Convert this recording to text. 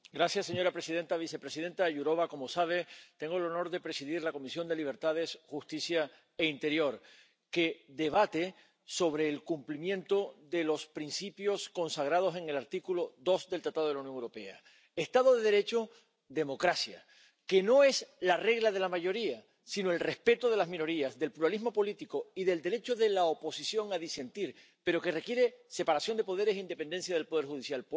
Señora presidenta, vicepresidenta Jourová, como sabe, tengo el honor de presidir la Comisión de Libertades Civiles, Justicia y Asuntos de Interior, que debate sobre el cumplimiento de los principios consagrados en el artículo 2 del Tratado de la Unión Europea Estado de Derecho, democracia, que no es la regla de la mayoría, sino el respeto de las minorías, del pluralismo político y del derecho de la oposición a disentir, pero que requiere separación de poderes e independencia del poder judicial.